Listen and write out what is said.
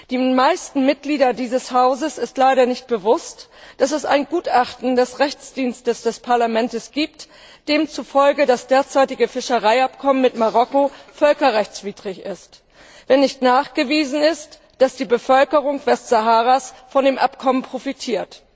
Den meisten Mitgliedern dieses Hauses ist leider nicht bewusst, dass es ein Gutachten des Juristischen Dienstes des Parlaments gibt, demzufolge das derzeitige Fischereiabkommen mit Marokko völkerrechtswidrig ist, wenn nicht nachgewiesen wird, dass die Bevölkerung Westsaharas von dem Abkommen profitiert.